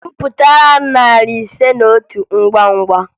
Gụpụtara m narị ise na otu ngwa ngwa!